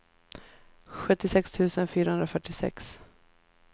sjuttiosex tusen fyrahundrafyrtiosex